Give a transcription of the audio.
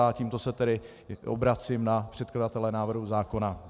A tímto se tedy obracím na předkladatele návrhu zákona.